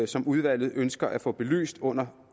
som udvalget ønsker at få belyst under